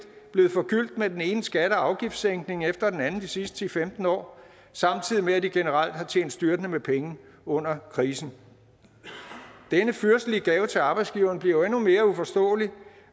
blevet forgyldt med den ene skatte og afgiftssænkning efter den anden de sidste ti til femten år samtidig med at de generelt har tjent styrtende med penge under krisen denne fyrstelige gave til arbejdsgiverne bliver jo endnu mere uforståelig